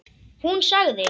Hún sagði.